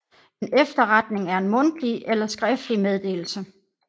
En efterretning er en mundtlig eller skriftlig meddelelse